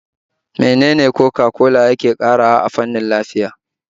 Menene Coca-cola yake ƙarawa a fannin lafiya?